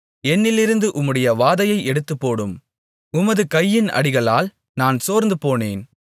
என்னிலிருந்து உம்முடைய வாதையை எடுத்துப்போடும் உமது கையின் அடிகளால் நான் சோர்ந்து போனேன்